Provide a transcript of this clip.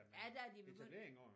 Ja der er de begyndt